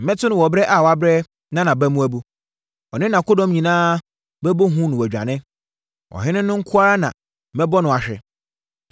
Mɛto no wɔ ɛberɛ a wabrɛ na nʼaba mu abu. Ɔne nʼakodɔm nyinaa bɛbɔ hu na wɔadwane. Ɔhene no nko ara na mɛbɔ no ahwe,